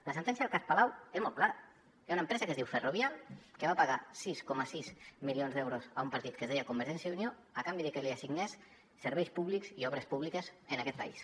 la sentència del cas palau és molt clara hi ha una empresa que es diu ferrovial que va pagar sis coma sis milions d’euros a un partit que es deia convergència i unió a canvi de que li assignés serveis públics i obres públiques en aquest país